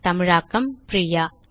தமிழாக்கம் பிரியா